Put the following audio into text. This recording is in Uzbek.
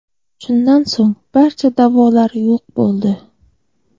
Shundan so‘ng barcha da’volar yo‘q bo‘ldi.